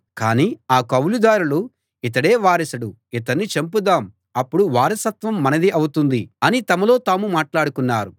కాని ఆ కౌలుదారులు ఇతడే వారసుడు ఇతన్ని చంపుదాం అప్పుడు వారసత్వం మనది అవుతుంది అని తమలో తాము మాట్లాడుకున్నారు